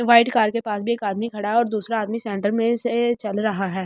White car के पास भी एक आदमी खड़ा है और दूसरा आदमी सेंटर में से चल रहा है।